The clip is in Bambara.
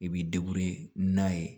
I b'i n'a ye